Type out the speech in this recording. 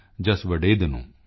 ਪੇਨਿੰਦਾ ਬਰੂਹੂ ਪਰਚੀਦਾਨੂ